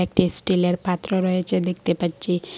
একটি স্টিলের পাত্র রয়েছে দেখতে পাচ্ছি।